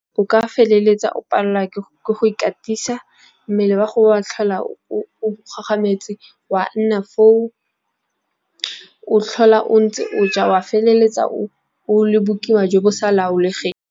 O ka feleletsa o pallwa ke go ikatisa, mmele wa gago wa tlhola o kgagametsi, wa nna foo o tlhola o ntse o ja wa feleletsa o le bokiwa jo bo sa laolegeng.